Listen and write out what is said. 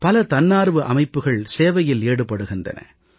பல தன்னார்வு அமைப்புகள் சேவையில் ஈடுபடுகின்றன